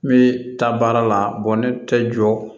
N bɛ taa baara la ne tɛ jɔ